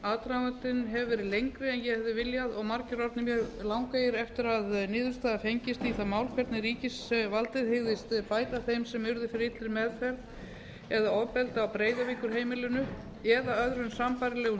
aðdragandinn hefur verið lengri en ég hefði viljað og margir orðnir mjög langeygir eftir að niðurstaða fengist í það mál hvernig ríkisvaldið hygðist bæta þeim sem urðu fyrir illri meðferð eða ofbeldi á breiðavíkurheimilinu eða öðrum sambærilegum